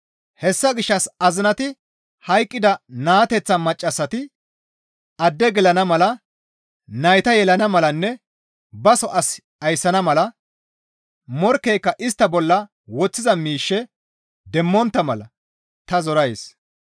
Hessa gishshas azinati hayqqida naateththa maccassati adde gelana mala, nayta yelana malanne baso as ayssana mala, morkkeyka istta bolla woththiza miishshe demmontta mala ta zorays.